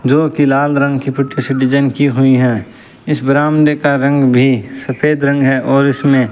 जो कि लाल रंग की पिट्ठू से डिजाइन की हुई हैं इस बरामदे का रंग भी सफेद रंग है और इसमें--